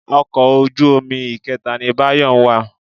Ọkọ̀ ojú omi ìkẹta ni Báyọ̀ ń wà.